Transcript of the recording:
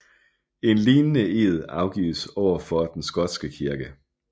En lignende ed afgives overfor Den Skotske Kirke